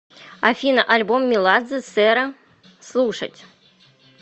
афина альбом меладзе сэра слушать